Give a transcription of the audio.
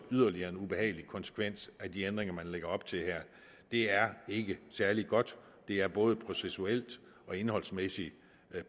yderligere ubehagelig konsekvens af de ændringer man her lægger op til det er ikke særlig godt det er både processuelt og indholdsmæssigt